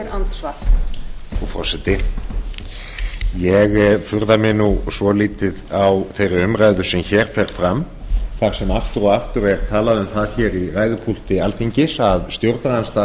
frú forseti ég furða mig nú svolítið á þeirri umræðu sem hér fer fram þar sem aftur og aftur er talað um það hér í ræðupúlti alþingis að stjórnarandstaðan